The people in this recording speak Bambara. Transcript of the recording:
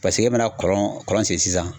paseke e mana kɔlɔn kɔlɔn segin sisan